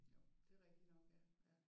Jo det er rigtigt nok ja ja